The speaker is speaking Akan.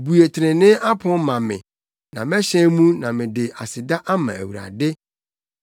Bue trenee apon ma me; na mɛhyɛn mu na mede aseda ama Awurade.